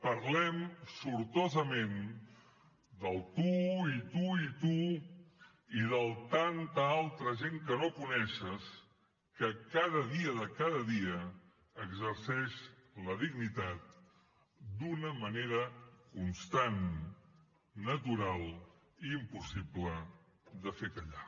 parlem sortosament del tu i tu i tu i del tanta altra gent que no coneixes que cada dia de cada dia exerceix la dignitat d’una manera constant natural i impossible de fer callar